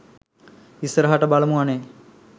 ඉස්සරහට බලමු අනේ